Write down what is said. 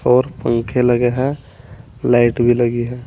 और पंखे लगे है लाइट भी लगी है।